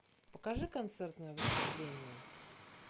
покажи концертное выступление